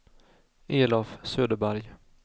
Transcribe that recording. Elof Söderberg